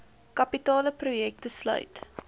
kapitale projekte sluit